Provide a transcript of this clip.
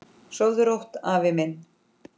Sofðu rótt, afi minn.